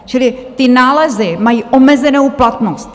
Čili ty nálezy mají omezenou platnost.